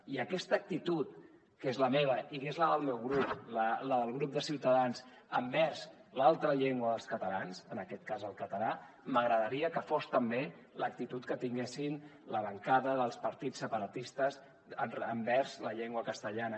i aquesta actitud que és la meva i que és la del meu grup la del grup de ciutadans envers l’altra llengua dels catalans en aquest cas el català m’agradaria que fos també l’actitud que tinguessin la bancada dels partits separatistes envers la llengua castellana